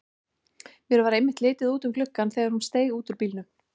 Mér varð einmitt litið út um gluggann þegar hún steig út úr bílnum.